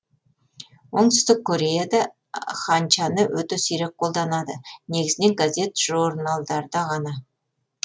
оңтүстік кореяда ханчаны өте сирек қолданады негізінен газет жорналдарда ғана